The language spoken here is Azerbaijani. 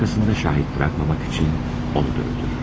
arkasında şahid buraxmamaq üçün onu da öldürür.